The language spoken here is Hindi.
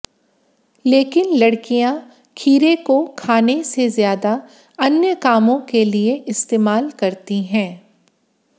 लेकिन लड़कियां खीरे को खाने से ज्यादा अन्य कामों के लिए इस्तेमाल करती हैं